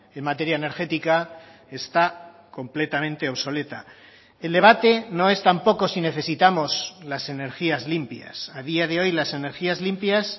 en materia energética está completamente obsoleta el debate no es tampoco si necesitamos las energías limpias a día de hoy las energías limpias